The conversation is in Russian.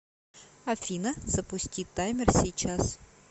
афина запусти таймер сейчас